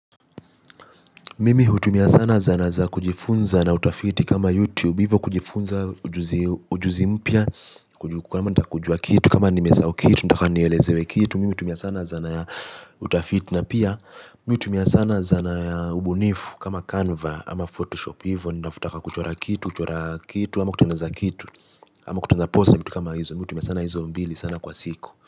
Mimi utumia sana zana za kujifunza na utafiti kama youtube hivyo kujifunza ujuzi mpya. Kwa nima nita kujua kitu kama nimesau kitu nitaka nielezewe kitu. Mimi utumia sana zana ya utafiti na pia. Mimi utumia sana zana ya ubunifu kama canva ama photoshop hivyo. Nitafutaka kuchora kitu kuchora kitu ama kutangaza kitu ama kutengeneza kitu ama kutangaza posta kitu kama hizo. Mimi utumia sana hizo mbili sana kwa siku.